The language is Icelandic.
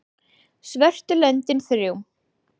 svörtu löndin þrjú